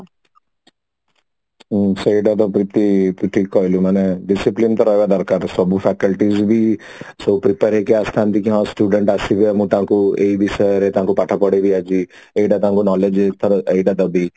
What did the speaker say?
ହଁ ସେଇଟା ତ ପ୍ରିତି ତୁ ଠିକ କହିଲୁ ମାନେ discipline ତ ରହିବା ଦର୍କାର ସବୁ faculty ବି ସେ prepare ହେଇକି ଆସିଥାନ୍ତି କି ହଁ student ଆସିବେ ଆମେ ତାଙ୍କୁ ଏଇ ବିଷୟରେ ତାଙ୍କୁ ପାଠ ପଢେଇବି ଆଜି ଏଇଟା ତାଙ୍କୁ knowledge ତାଙ୍କୁ ଦେବି